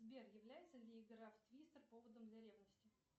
сбер является ли игра в твистер поводом для ревности